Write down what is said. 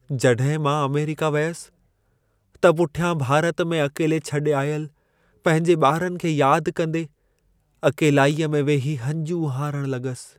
जॾहिं मां अमेरिका वियसि, त पुठियां भारत में अकेले छॾे आयल पंहिंजे ॿारनि खे यादि कंदे, अकेलाईअ में वेही हंजूं हारण लॻसि।